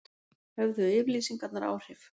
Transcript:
Höfðu yfirlýsingarnar áhrif